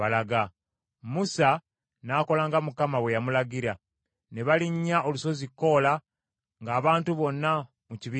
Musa n’akola nga Mukama bwe yamulagira; ne balinnya olusozi Koola ng’abantu bonna mu kibiina balaba.